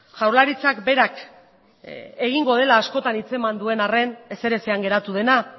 jaurlaritzak berak egingo dela askotan hitza eman duen arren ezer ezean geratu dena